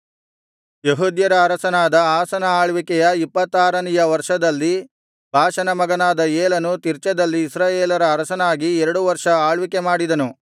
ಯೆಹೂದ್ಯರ ಅರಸನಾದ ಆಸನ ಆಳ್ವಿಕೆಯ ಇಪ್ಪತ್ತಾರನೆಯ ವರ್ಷದಲ್ಲಿ ಬಾಷನ ಮಗನಾದ ಏಲನು ತಿರ್ಚದಲ್ಲಿ ಇಸ್ರಾಯೇಲರ ಅರಸನಾಗಿ ಎರಡು ವರ್ಷ ಆಳ್ವಿಕೆ ಮಾಡಿದನು